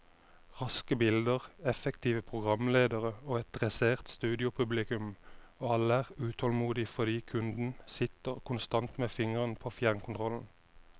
Raske bilder, effektive programledere og et dressert studiopublikum, og alle er utålmodige fordi kunden sitter konstant med fingeren på fjernkontrollen.